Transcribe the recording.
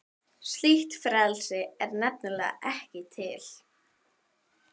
Slíkt frelsi er nefnilega ekki til.